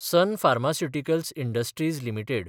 sun Pharmaceuticals Industries limited